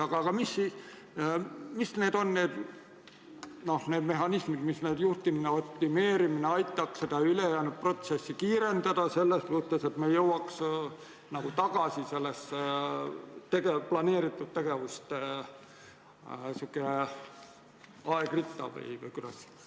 Aga millised on need mehhanismid, mis aitaksid juhtimist optimeerides seda ülejäänud protsessi kiirendada, et me jõuaks planeeritud tegevuste ajakavasse tagasi?